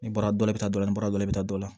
Ni bara dɔ bɛ taa dɔ la ni bara dɔ bɛ dɔ la